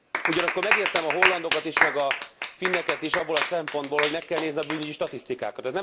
Ugyanakkor megértem a hollandokat is, meg a finneket is abból a szempontból, hogy meg kell nézni a bűnügyi statisztikákat.